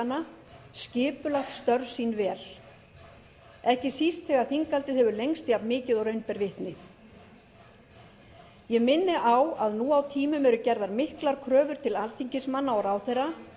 vikuáætlana skipulagt störf sín vel ekki síst þegar þinghaldið hefur lengst jafnmikið og raun ber vitni ég minni á að nú á tímum eru gerðar miklar kröfur til alþingismanna og ráðherra